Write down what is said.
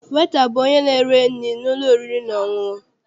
Weta bụ onye na-ere nri n'ụlọ oriri na ọṅụṅụ.